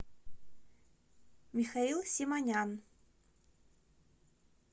михаил симонян